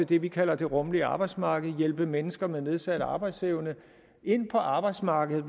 det vi kalder det rummelige arbejdsmarked altså hjælpe mennesker med nedsat arbejdsevne ind på arbejdsmarkedet